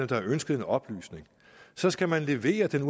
der har ønsket en oplysning så skal man levere den